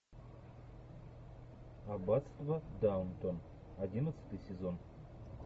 аббатство даунтон одиннадцатый сезон